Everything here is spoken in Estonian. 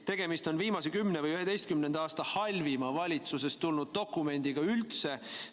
Tegemist on viimase 10 või 11 aasta halvima valitsusest tulnud dokumendiga üldse.